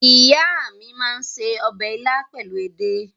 Ìyá mi máa ń se ọbẹ̀ ilá pẹ̀lú edé.